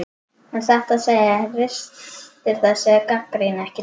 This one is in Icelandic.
En satt að segja ristir þessi gagnrýni ekki djúpt.